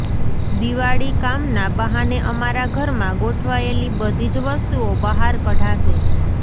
દિવાળી કામના બહાને અમારા ઘરમાં ગોઠવાયેલી બધી જ વસ્તુઓ બહાર કઢાશે